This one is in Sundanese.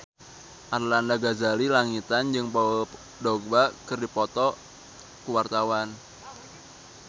Arlanda Ghazali Langitan jeung Paul Dogba keur dipoto ku wartawan